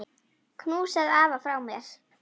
Knúsaðu afa frá mér.